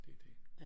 Det det